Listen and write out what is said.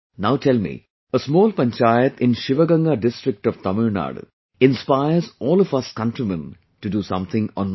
Now tell me, a small panchayat in Sivaganga district of Tamil Nadu inspires all of us countrymen to do something or not